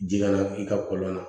Ji kana i ka kɔlɔn na